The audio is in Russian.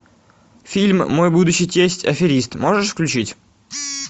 фильм мой будущий тесть аферист